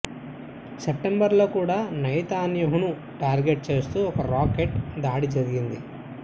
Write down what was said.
September లో కూడా నెతన్యాహును టార్గెట్ చేస్తూ ఒక రాకెట్ దాడి జరిగింది